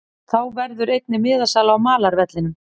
Þá verður einnig miðasala á malarvellinum.